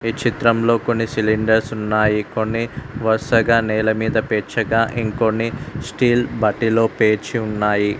ఈ చిత్రంలో కొన్ని సిలిండర్స్ ఉన్నాయి కొన్ని వరుసగా నేల మీద పేర్చగా ఇంకొన్ని స్టీల్ వాటిలో పేర్చి ఉన్నాయి.